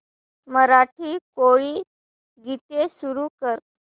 मराठी कोळी गीते सुरू कर